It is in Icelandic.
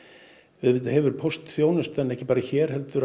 auðvitað hefur póstþjónustan ekki bara hér heldur